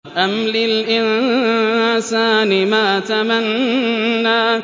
أَمْ لِلْإِنسَانِ مَا تَمَنَّىٰ